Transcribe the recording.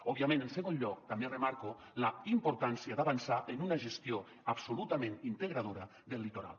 òbviament en segon lloc també remarco la importància d’avançar en una gestió absolutament integradora del litoral